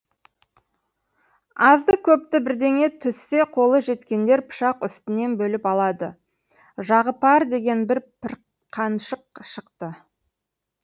азды көпті бірдеңе түссе қолы жеткендер пышақ үстінен бөліп алады жағыпар деген бір пірқаншық шықты